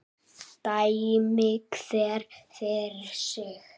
Dæmi hver fyrir sig.